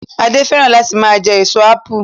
Adé fẹ́ràn láti máa jẹ èso ápù